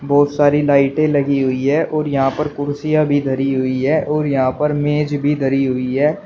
बहोत सारी लाइटें लगी हुई है और यहां पर कुर्सियां भी धरी हुई है और यहां पर मेज भी धरी हुई है।